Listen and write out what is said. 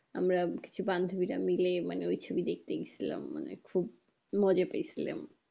আমরা কিছু বান্ধবীরা মিলে মানে ওই ছবি দেখতে গিয়ে ছিলাম মানে খুব মজা পেয়েছিলাম